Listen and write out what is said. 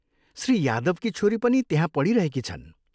श्री यादवकी छोरी पनि त्यहाँ पढिरहेकी छन्।